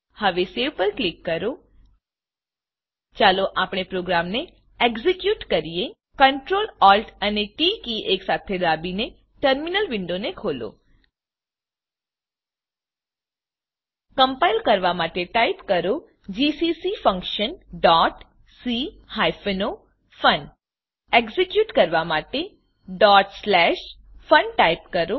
હવે save save પર click કરો ચાલો આપણે પ્રોગ્રામને એક્ઝેક્યુટ કરીએ Ctrl Alt અને ટી કી એકસાથે દાબીને ટર્મીનલ વિન્ડો ને ખોલો કમ્પાઈલ કરવાં માટે ટાઈપ કરો GCC function dot C hyphen O fun execute કરવા માટેfun ટાઈપ કરો